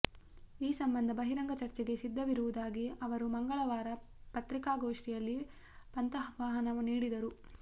ಈ ಸಂಬಂಧ ಬಹಿರಂಗ ಚರ್ಚೆಗೆ ಸಿದ್ಧವಿರುವುದಾಗಿ ಅವರು ಮಂಗಳವಾರ ಪತ್ರಿಕಾಗೋಷ್ಠಿಯಲ್ಲಿ ಪಂಥಾಹ್ವಾನ ನೀಡಿದರು